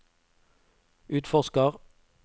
utforsker